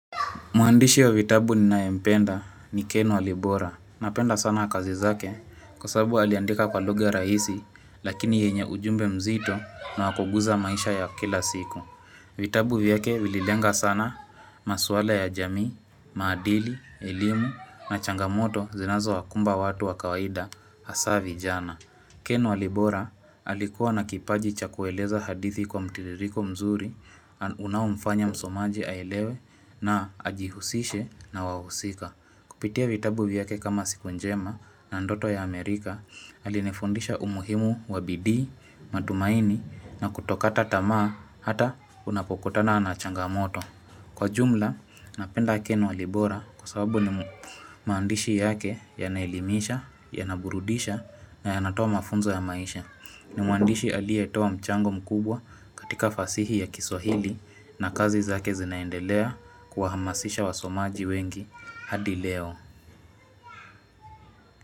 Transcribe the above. Muandishi wa vitabu ninae mpenda ni Ken Walibora. Napenda sana kazi zake kwa sababu aliandika kwa lugha rahisi lakini yenye ujumbe mzito na wakuguza maisha ya kila siku. Vitabu vyake vililenga sana maswala ya jamii, maadili, elimu na changamoto zinazo wakumba watu wa kawaida hasa vijana. Ken walibora alikuwa na kipaji cha kueleza hadithi kwa mtiririko mzuri unaomfanya msomaji aelewe na ajihusishe na wahusika. Kupitia vitabu vyake kama siku njema na ndoto ya Amerika alinifundisha umuhimu wabidii, matumaini na kutokata tamaa hata unapokutana na changamoto. Kwa jumla, napenda ken walibora kwa sababu ni maandishi yake yanaelimisha, yanaburudisha na yanatoa mafunzo ya maisha. Ni muandishi alie toa mchango mkubwa katika fasihi ya kiswahili na kazi zake zinaendelea kuwahamasisha wasomaji wengi hadi leo.